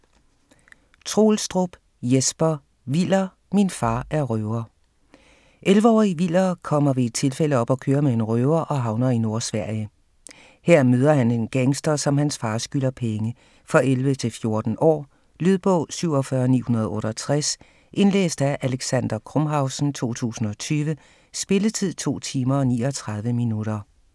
Troelstrup, Jesper: Viller - min far er røver 11-årige Viller kommer ved et tilfælde op at køre med en røver og havner i Nordsverige. Her møder han en gangster, som hans far skylder penge. For 11-14 år. Lydbog 47968 Indlæst af Alexander Krumhausen, 2020. Spilletid: 2 timer, 39 minutter.